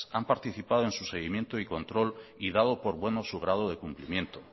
han participado en su seguimiento y control y dado por bueno su grado de cumplimiento